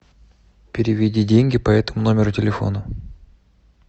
переведи деньги по этому номеру телефона